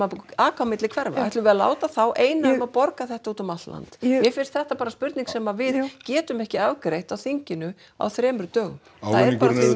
aka á milli hverfa ætlum við að láta þá eina um að borga þetta út um allt land mér finnst þetta bara spurning sem við getum ekki afgreitt á þinginu á þremur dögum það er bara